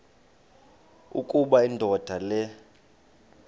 ukuba indoda le